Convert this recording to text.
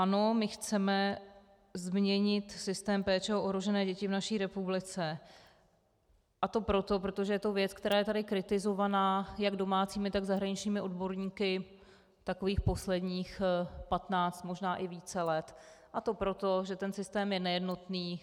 Ano, my chceme změnit systém péče o ohrožené děti v naší republice, a to proto, protože to je věc, která je tady kritizovaná jak domácími, tak zahraničními odborníky takových posledních patnáct, možná i více let, a to proto, že ten systém je nejednotný.